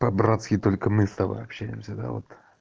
по-братски только мы с тобой общаемся да вот